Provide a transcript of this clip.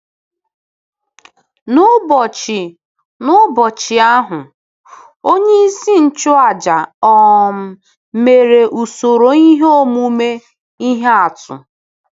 N’ụbọchị N’ụbọchị ahụ, onyeisi nchụàjà um mere usoro ihe omume ihe atụ.